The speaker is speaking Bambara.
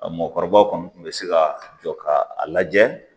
A mɔkɔrɔbaw kɔni tun bɛ se ka jɔ ka a lajɛ